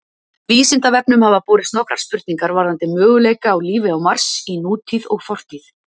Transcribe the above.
Vísindavefnum hafa borist nokkrar spurningar varðandi möguleika á lífi á Mars í nútíð og fortíð.